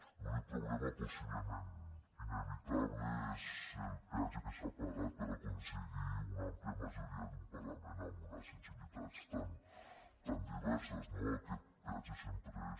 l’únic problema possiblement inevitable és el peatge que s’ha pagat per aconseguir una àmplia majoria d’un parlament amb unes sensibilitats tan diverses no aquest peatge sempre és